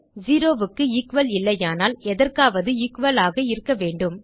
zero க்கு equal இல்லையானால் எதற்காவது எக்குவல் ஆக இருக்க வேண்டும்